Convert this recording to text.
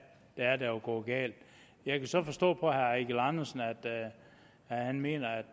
er der er gået galt jeg kan så forstå på herre eigil andersen at han mener at